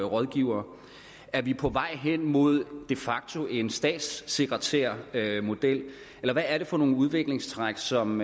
rådgivere er vi på vej hen imod de facto en statssekretærmodel eller hvad er det for nogle udviklingstræk som